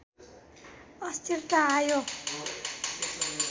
अस्थिरता आयो